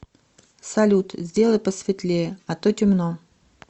салют сделай посветлее а то темно